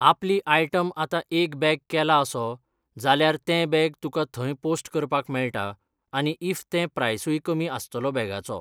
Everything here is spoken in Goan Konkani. आपली आयटम आतां एक बॅग केला असो, जाल्यार तें बॅग तुका थंय पोस्ट करपाक मेळटा आनी इफ ते प्रायसूय कमी आसतलो बॅगाचो.